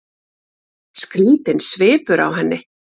Skrýtinn svipur á henni.